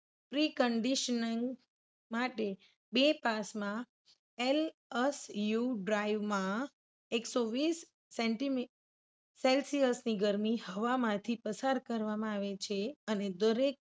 Preconditioning માટે બે pass માં LSU drive માં એકસો વીસ સેન્ટિમી Celsius ની ગરમી હવામાંથી પસાર કરવામાં આવે છે.